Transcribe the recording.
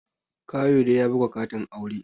Kayode ya buga katin aure